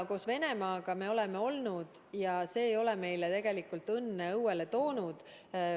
Koos Venemaaga me oleme olnud ja see ei ole õnne meie õuele toonud.